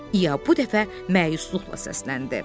İya bu dəfə məyusluqla səsləndi.